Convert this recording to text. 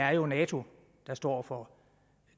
er jo nato der står for